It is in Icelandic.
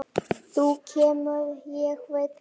Þú kemur, ég veit það.